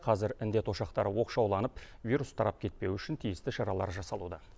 қазір індет ошақтары оқшауланып вирус тарап кетпеуі үшін тиісті шаралар жасалуда